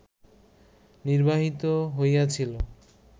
নির্বাহিত হইয়াছিল